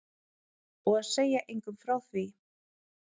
Og segja engum frá því.